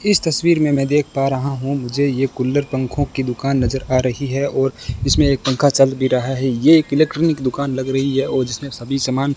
इस तस्वीर में मैं देख पा रहा हूं मुझे ये कूलर पंखों की दुकान नजर आ रही है और इसमें एक पंखा चल भी रहा है ये एक इलेक्ट्रॉनिक दुकान लग रही है और जिसमें सभी सामान --